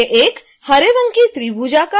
इससे एक हरे रंग की त्रिभुजाकार आकृति बन जाएगी